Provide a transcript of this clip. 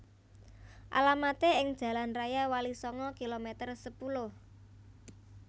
Alamaté ing Jalan Raya Walisanga kilometer sepuluh